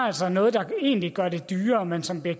altså noget der egentlig gør det dyrere men som bliver